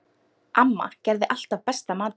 Amma gerði alltaf besta matinn.